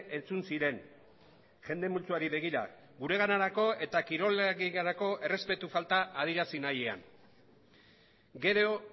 entzun ziren jende multzoari begira guganako eta kirolarienganako errespetu falta adierazi nahian gero